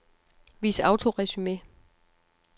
Vis autoresumé.